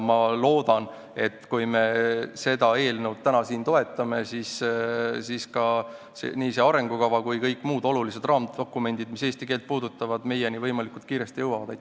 Ma loodan, et kui me seda eelnõu täna siin toetame, siis jõuavad nii see arengukava kui ka kõik muud olulised raamdokumendid, mis eesti keelt puudutavad, võimalikult kiiresti meieni.